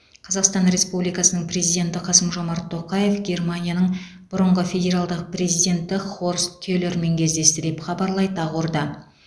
қазақстан республикасының президенті қасым жомарт тоқаев германияның бұрынғы федералдық президенті хорст келермен кездесті деп хабарлайды ақорда